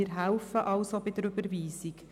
Wir helfen also bei der Überweisung.